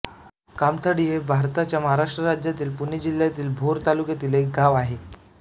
कामथडी हे भारताच्या महाराष्ट्र राज्यातील पुणे जिल्ह्यातील भोर तालुक्यातील एक गाव आहे